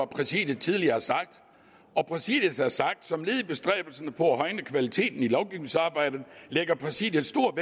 præsidiet tidligere har sagt og præsidiet har sagt som led i bestræbelserne på at højne kvaliteten i lovgivningsarbejdet lægger præsidiet stor